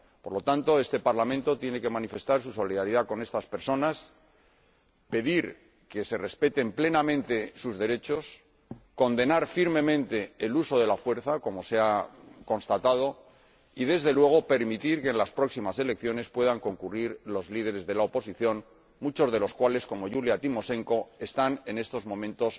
Por lo tanto, este Parlamento tiene que manifestar su solidaridad con estas personas, pedir que se respeten plenamente sus derechos, condenar firmemente el uso de la fuerza como se ha constatado y, desde luego, permitir que en las próximas elecciones puedan concurrir los líderes de la oposición, muchos de los cuales, como Yulia Timoshenko, están encarcelados en estos momentos.